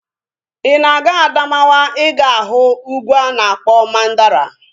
Ị na-aga Adamawa ị ga-ahụ ugwu a na-akpọ Mandara